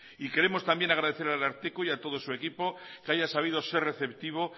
y queremos también agradecer al ararteko y a todo su equipo que haya sabido ser receptivo